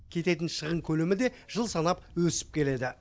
кететін шығын көлемі де жыл санап өсіп келеді